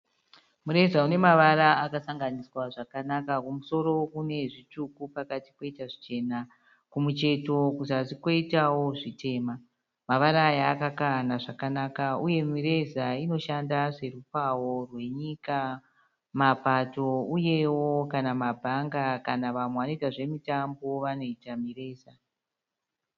Mureza une mavara akasanganiswa zvakanaka. Kumusoro une zvitsvuku pakati poita zvichena. Kumucheto kuzasi koitawo zvitema. Mavara aya akakahana zvakanaka uye mireza inoshanda serupawo rwenyika, mapato uyewo kana mabhanga kana vamwe vanoita zvemitambo vanoita mireza.